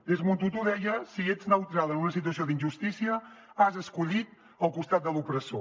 desmond tutu deia si ets neutral en una situació d’injustícia has escollit el costat de l’opressor